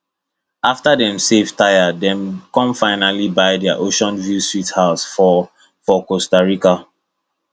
after dem save tire dem come finally buy their oceanview sweet home for for costa rica